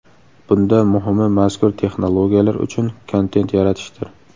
Bunda muhimi, mazkur texnologiyalar uchun kontent yaratishdir.